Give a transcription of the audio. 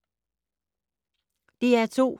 DR2